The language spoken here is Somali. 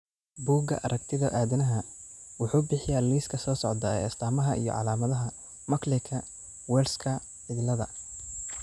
Bugaa aragtida aDdanaha wuxuu bixiyaa liiska soo socda ee astamaha iyo calaamadaha Muckleka Wellska ciladha